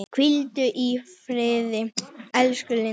Hvíldu í friði elsku Linda.